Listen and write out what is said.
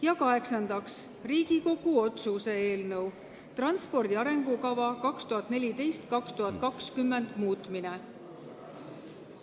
Ja kaheksandaks, Riigikogu otsuse ""Transpordi arengukava 2014–2020" muutmine" eelnõu.